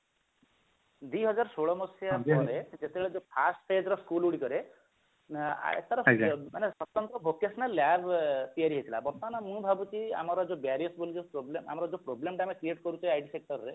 ଦିହଜାରେ ଷୋଳ ମସିହା ପରେ ଯେତେବେଳେ ଯୋଉ first stage ର school ଗୁଡିକରେ ମାନେ vocational lab ତିଆରି ହେଇଥିଲା ବର୍ତମାନ ମୁଁ ଭାବୁଛି ଆମର ଯୋଉ ବୋଲି ଯୋଉ problem ଆମର ଯୋଉ problem ଟା ଆମେ create କରୁଛେ IT sector ରେ